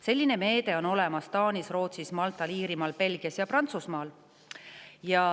Selline meede on olemas Taanis, Rootsis, Maltal, Iirimaal, Belgias ja Prantsusmaal.